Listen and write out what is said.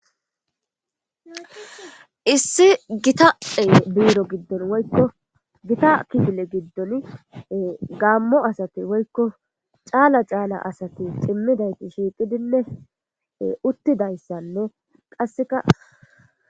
issi gitae biiro giddon woykko gita kigile giddon gaammo asati woykko caala caala asati cimmidayti shiiqidinne uttidayssanno qasseka